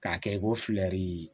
K'a kɛ ko filɛri